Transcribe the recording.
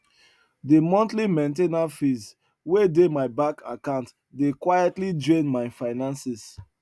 de monthly main ten ance fees wey dey my bank account dey quietly drain my finances